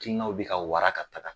Hakilinanw be ka wara ka taga